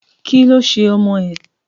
Kí ló ṣe ọmọ ẹ̀?